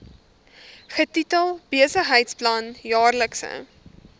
getitel besigheidsplan jaarlikse